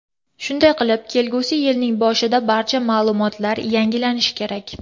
Shunday qilib, kelgusi yilning boshida barcha ma’lumotlar yangilanishi kerak.